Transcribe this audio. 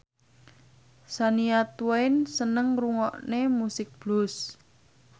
Shania Twain seneng ngrungokne musik blues